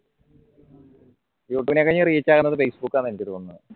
youtube നെക്കാളും reach കുന്നത് facebook ആന്ന് എനിക്ക് തോന്നുന്നത്